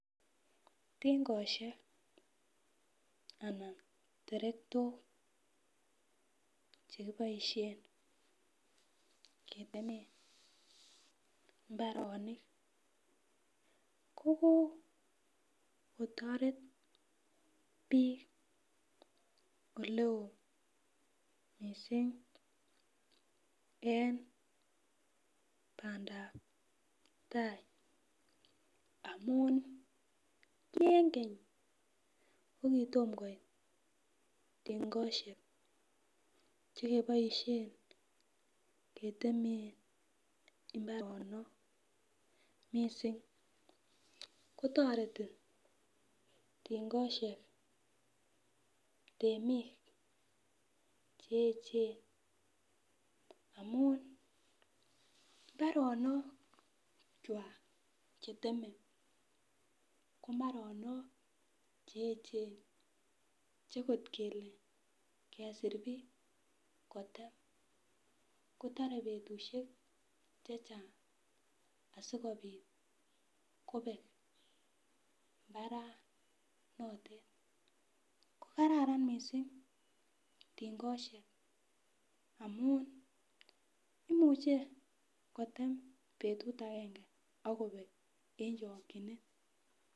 Tingosiek anan terektok chekiboisien ketemen mbaronik ko kokotoret bik ole oo mising eng pandab tai amun ki eng keny ko kitomkoit tingosiek che keboisien keteme mbaronik mising kotoreti tingosiek temik che echen amun mbaronokwak cheteme ko mbaronok che echen che kot kele kesir bik kotem kotore betushiek chechang asikobit kobek mbaranotet ko kararan mising tingosiek amun imuche kotem betut agenge agobek eng chokinet.